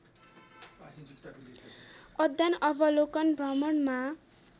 अध्ययन अवलोकन भ्रमणमा